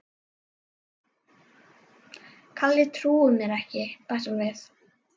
Kalli trúir mér ekki bætti hún við.